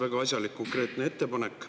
Väga asjalik ja konkreetne ettepanek.